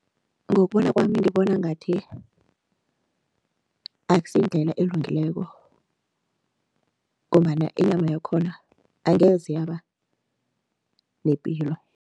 Ngokubona kwami, ngibona ngathi akusiyindlela elungileko ngombana inyama yakhona angeze yaba nepilo.